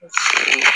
Unhun